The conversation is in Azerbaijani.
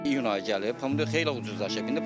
İyun ayı gəlib, pomidor xeyli ucuzlaşıb.